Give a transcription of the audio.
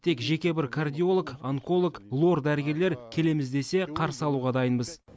тек жеке бір кардиолог онколог лор дәрігерлер келеміз десе қарсы алуға дайынбыз